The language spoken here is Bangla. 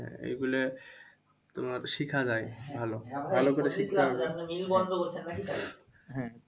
হ্যাঁ এগুলো তোমার শিখা যায় ভালো। ভালো করে শিখতে হবে। হম